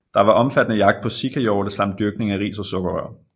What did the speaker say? Der var omfattende jagt på sikahjorte samt dyrkning af ris og sukkerrør